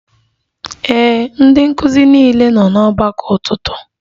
Ee, ndị nkụzi niile nọ n'ọgbakọ ụtụtụ